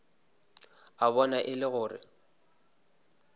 a bona e le gore